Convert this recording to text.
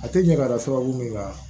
A tɛ ɲɛ ka da sababu min kan